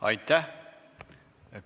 Aitäh!